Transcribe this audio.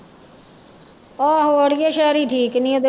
ਆਹੋ ਆੜੀਏ ਸੈਰੀ ਠੀਕ ਨੀ ਹਜੇ।